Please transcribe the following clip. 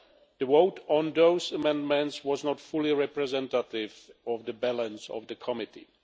The vote on those amendments was not fully representative of the balance of the committee.